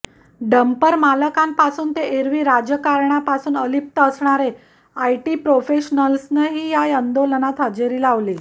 डंपरमालकांपासून ते एरवी राजकारणापासून अलिप्त असणारे आयटी प्रोफेशनल्सनंही या आंदोलनात हजेरी लावली